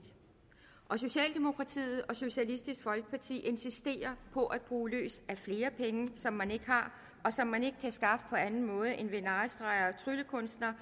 socialdemokratiet og socialistisk folkeparti insisterer på at bruge løs af flere penge som man ikke har og som man ikke kan skaffe på anden måde end ved narrestreger og tryllekunster